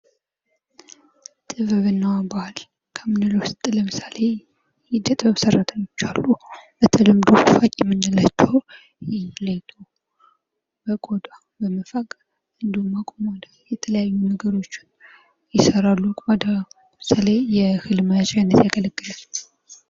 ጥበብና ባህል ከምንለው ውስጥ ለምሳሌ የዕደጥበብ ሰራተኞች አሉ በተለምዶ ፋቂ የምንላቸው ቆዳ በመፋቅ እንዲሁም የተለያዩ ነገሮችን ይሰራሉ ለምሳሌ የህልም መያዣነት ያገለግላል።